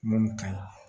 Mun ka ɲi